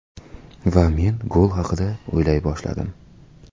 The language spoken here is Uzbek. Va men gol haqida o‘ylay boshladim.